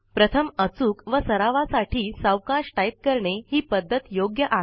प्रथम अचूक व सरावा साठी सावकाश टाइप करणे ही पद्धत योग्य आहे